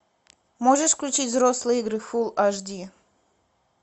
можешь включить взрослые игры фул аш ди